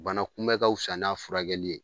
Bana kunbɛn ka wusa n'a furakɛli ye.